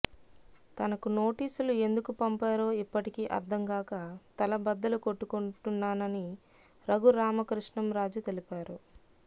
తనకు నోటీసులు ఎందుకు పంపారో ఇప్పటికీ అర్థంకాక తల బద్దలు కొట్టుకుంటున్నానని రఘురామకృష్ణం రాజు తెలిపారు